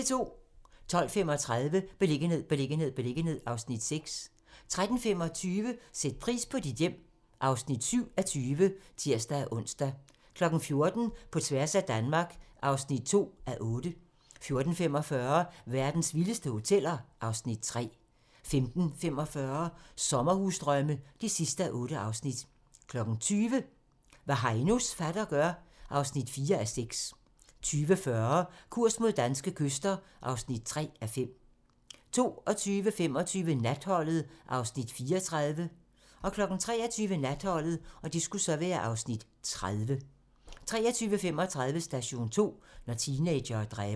12:35: Beliggenhed, beliggenhed, beliggenhed (Afs. 6) 13:25: Sæt pris på dit hjem (7:20)(tir-ons) 14:00: På tværs af Danmark (2:8) 14:45: Verdens vildeste hoteller (Afs. 3) 15:45: Sommerdrømme (8:8) 20:00: Hvad Heinos fatter gør (4:6) 20:40: Kurs mod danske kyster (3:5) 22:25: Natholdet (Afs. 34) 23:00: Natholdet (Afs. 30) 23:35: Station 2: Når teenagere dræber